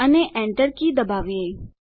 અને Enter key દબાવીએ